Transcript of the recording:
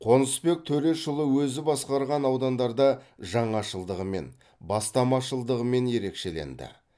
қонысбек төрешұлы өзі басқарған аудандарда жаңашылдығымен бастамашылдығымен ерекшеленді